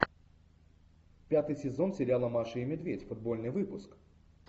пятый сезон сериала маша и медведь футбольный выпуск